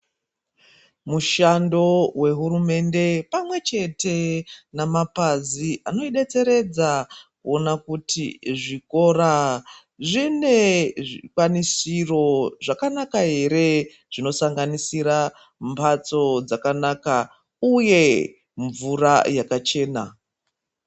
Mushando wehurumende pamwechete nemapazi anoidetseredza kuona kuti zvikora zvine zvikwanisiro here zvinosanganisira mhatso dzakanaka uye mvura yakachena.